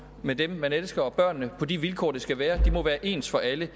med dem man elsker og børnene på de vilkår det skal være de må være ens for alle